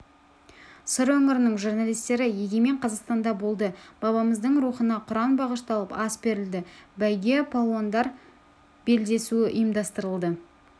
сыр өңірінің журналистері егемен қазақстанда болды бабамыздың рухына құран бағышталып ас берілді бәйге палуандар белдесуі ұйымдастырылды